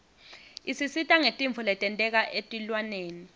isisita ngetintfo letenteka etilwaneni